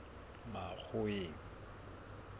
makgoweng